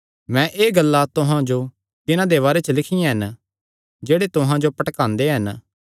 मैं एह़ गल्लां तुहां जो तिन्हां दे बारे च लिखियां हन जेह्ड़े तुहां जो भटकांदे हन